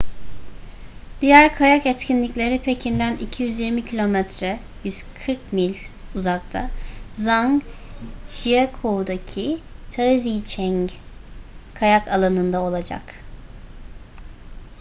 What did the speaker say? diğer kayak etkinlikleri pekin'den 220 km 140 mil uzakta zhangjiakou'daki taizicheng kayak alanında olacak